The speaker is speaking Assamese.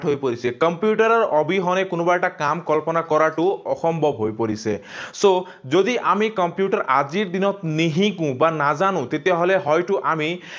হৈ পৰিছে। কম্পিউটাৰৰ অবিহনে কোনোবা এটা কাম কল্পনা কৰাটো অসম্ভৱ হৈ পৰিছে। So, যদি আমি কম্পিউটাৰ আজিৰ দিনত নিশিকো, বা নাজানো, তেতিয়াহলে হয়তো আমি